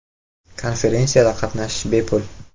Konferensiyada qatnashish bepul.